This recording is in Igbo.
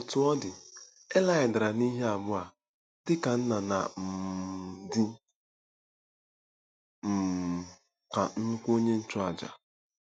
Otú ọ dị, Ilaị dara n'ihe abụọ a, dị ka nna na um dị um ka nnukwu onye nchụàjà.